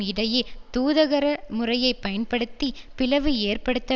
இடையே தூதரக முறையை பயன்படுத்தி பிளவு ஏற்படுத்த